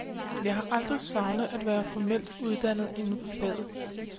Jeg har aldrig savnet at være formelt uddannet inden for faget.